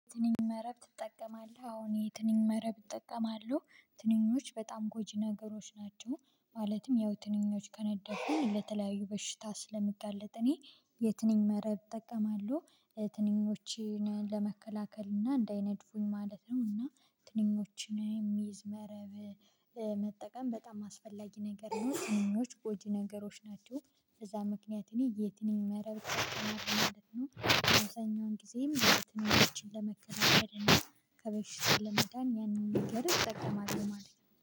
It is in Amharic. ትንኝ መረብ ትጠቀማለህ አዎ እኔ ይሄ ትንኝ መረብ እጠቀማሉ ትንኞች በጣም ጎጂ ነገሮች ናቸው ማለትም ያው ትንኞች ከነደፉ ለተለያዩ በሽታ ስለምጋለጥ እኔ የትንኝ መረብ እጠቀማለሁ ትንኞችን ለመከላከል እና እንዳይነድፉኝ ማለት ነው እና ትንኞችን የሚይዝ መረብ መጠቀም በጣም አስፈላጊ ነገር ነው። ትንኞች በጣም ጎጂ ነገሮች ናቸው። በዛ ምክንያት እኔ የትንኝ መረብ ተመርክ ማለት ነው የተኛውን ጊዜም በትኛው መረብ ለመከዳበድ ለመጣን ያንን ንገረት እጠቀማለሁ ለማለት ነው።